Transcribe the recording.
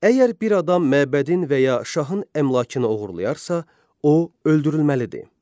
Əgər bir adam məbədin və ya şahın əmlakını oğurlayarsa, o öldürülməlidir.